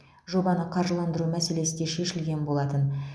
жобаны қаржыландыру мәселесі де шешілген болатын